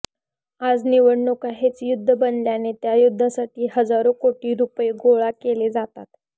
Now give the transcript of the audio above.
आज निवडणुका हेच युद्ध बनल्याने त्या युद्धासाठी हजारो कोटी रुपये गोळा केले जातात